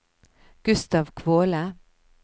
Gustav Kvåle